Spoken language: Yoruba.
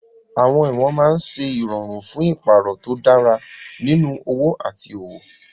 Àwọn ìwọ̀n máa ń ṣe ìrọ̀rùn fún ìpààrọ̀ tó dára nínú òwò àti òwò.